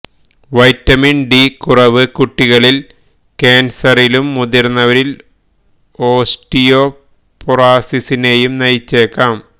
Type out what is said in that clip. vitamin D കുറവ് കുട്ടികളിൽ കാൻസറിലും മുതിർന്നവരിൽ ഓസ്റ്റിയോപൊറോസിസിനേയും നയിച്ചേക്കാം